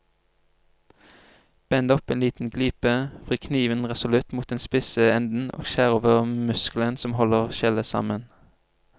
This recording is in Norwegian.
Bend opp en liten glipe, vri kniven resolutt mot den spisse enden og skjær over muskelen som holder skjellet sammen.